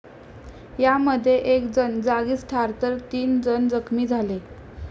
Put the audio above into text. यामध्ये एक जण जागीच ठार तर तीन जण जखमी झाले.